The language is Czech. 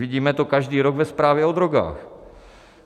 Vidíme to každý rok ve zprávě o drogách.